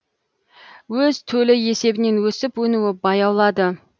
өз төлі есебінен өсіп өнуі баяулады